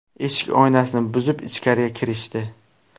Eshik oynasini buzib, ichkariga kirishdi.